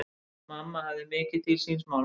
Mamma hafði mikið til síns máls.